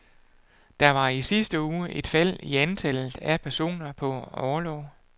Der var i sidste uge et fald i antallet af personer på orlov.